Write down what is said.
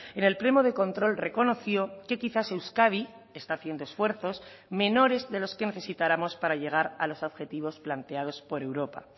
en el pleno de control reconoció que quizás euskadi está haciendo esfuerzos menores de los que necesitáramos para llegar a los objetivos planteados por europa